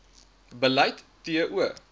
beleid t o